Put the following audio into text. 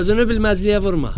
Özünü bilməzliyə vurma.